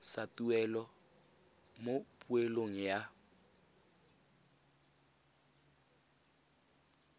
sa tuelo mo poelong ya